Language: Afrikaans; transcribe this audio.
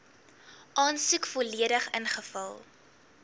aansoek volledig ingevul